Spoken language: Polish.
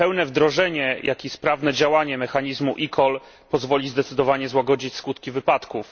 Pełne wdrożenie, jak i sprawne działanie mechanizmu eCall pozwoli zdecydowanie złagodzić skutki wypadków.